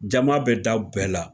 Jama bɛ daw bɛɛ la